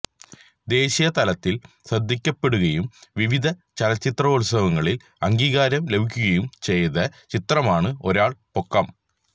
ദേശീയ തലത്തിൽ ശ്രദ്ധിക്കപ്പെടുകയും വിവിധ ചലച്ചിത്രോത്സവങ്ങളിൽ അംഗീകാരം ലഭിക്കുകയും ചെയ്ത ചിത്രമാണ് ഒരാൾ പൊക്കം